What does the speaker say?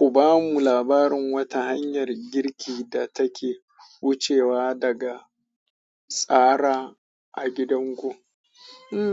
Ku ba mu labarin wata hanyar girki da take wucewa daga tsara a gidanku.